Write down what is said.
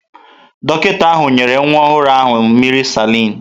Dọkịta ahụ nyere nwa ọhụrụ ahụ mmiri salin.